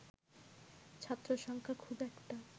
ছাত্রসংখ্যা খুব একটা